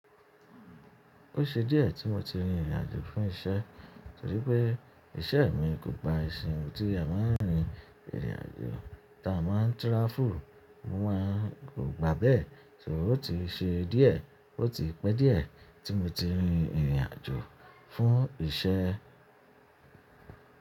Ó ṣe díẹ̀ tí mo ti rin ìrìnàjò fún iṣẹ́, torí pé iṣẹ́ mi kò gba ìsìn tí a máa ń rin ìrìnàjò, tá a máa ń travel, mo máa kò gbà á bẹ́ẹ̀. Torí ó ti ṣe díẹ̀, ó ti pẹ́ díẹ̀ tí mo ti rin ìrìnàjò fún iṣẹ́.